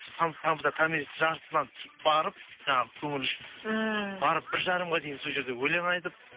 томиристің жартысынан барып жаңағы көңілі үшін ммм барып бір жарымға дейін сол жерде өлең айтып